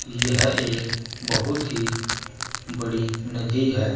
यह एक बहुत ही बड़ी नदी है।